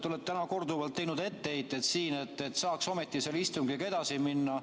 Te olete täna korduvalt teinud etteheiteid, et saaks ometi selle istungiga edasi minna.